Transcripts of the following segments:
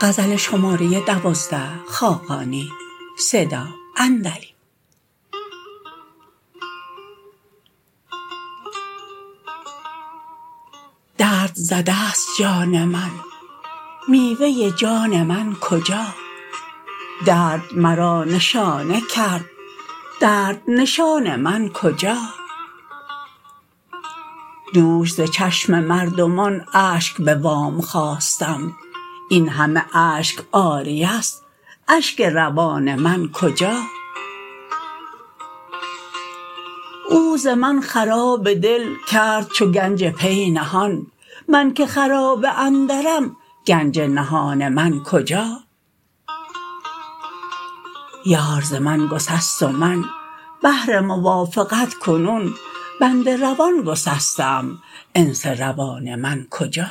درد زده است جان من میوه جان من کجا درد مرا نشانه کرد درد نشان من کجا دوش ز چشم مردمان اشک به وام خواستم این همه اشک عاریه است اشک روان من کجا او ز من خراب دل کرد چو گنج پی نهان من که خرابه اندرم گنج نهان من کجا یار ز من گسست و من بهر موافقت کنون بند روان گسسته ام انس روان من کجا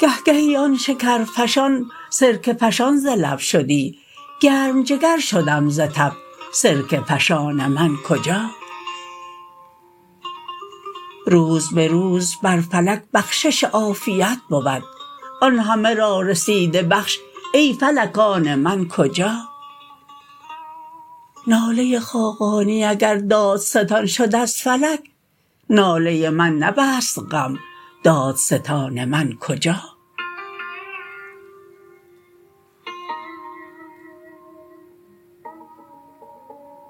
گهگهی آن شکرفشان سرکه فشان ز لب شدی گرم جگر شدم ز تب سرکه فشان من کجا روز به روز بر فلک بخشش عافیت بود آن همه را رسیده بخش ای فلک آن من کجا ناله خاقانی اگر دادستان شد از فلک ناله من نبست غم دادستان من کجا